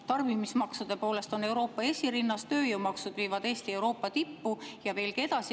Tarbimismaksude poolest on Eesti Euroopa esirinnas, tööjõumaksud viivad Eesti Euroopa tippu ja veelgi edasi.